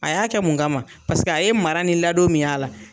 A y'a kɛ mun kama? Paseke a ye mara ni ladon min y'a la.